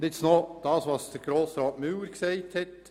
Ich komme nun auf das zu sprechen, was Grossrat Müller gesagt hat.